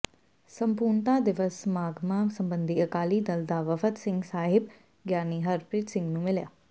ਸੰਪੂਰਨਤਾ ਦਿਵਸ ਸਮਾਗਮਾਂ ਸਬੰਧੀ ਅਕਾਲੀ ਦਲ ਦਾ ਵਫ਼ਦ ਸਿੰਘ ਸਾਹਿਬ ਗਿਆਨੀ ਹਰਪ੍ਰੀਤ ਸਿੰਘ ਨੂੰ ਮਿਲਿਆ